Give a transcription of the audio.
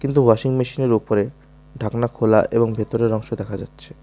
কিন্তু ওয়াশিং মেশিনের ওপরে ঢাকনা খোলা এবং ভেতরের অংশ দেখা যাচ্ছে।